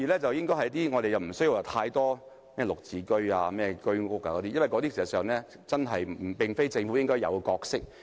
第二，我們無須興建太多"綠置居"或居屋，因為事實上，這並非政府應有的角色。